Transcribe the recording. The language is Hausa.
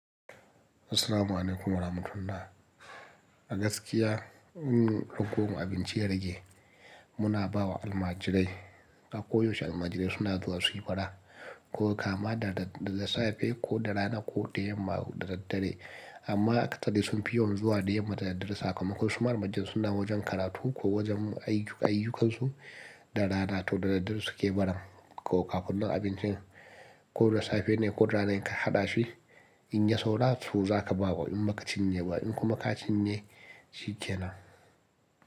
Assalamu'alaikum warahmatullah. A gaskiya in lugo mu abinci ya rage muna bawa almajirai. A koyaushe almajirai suna zuwa suyi bara ko kama da safe ko da rana ko da yamma da daddare. Amma katade sun fi yawan zuwa da yamma da dare sakakon su marubujin suna wajen karatu ko wajen ayyukansu da rana to da daddare suke baran. Ko kafin nan abincin ko da safe ne ko da rana ka haɗa shi in ya saura su zaka ba wa in kuma ka cinye shi kenan.